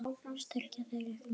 Styrkja þeir ykkur mikið?